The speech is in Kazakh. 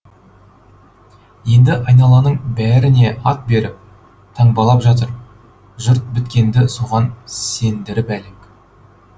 енді айналаның бәріне ат беріп таңбалап жатыр жұрт біткенді соған сендіріп әлек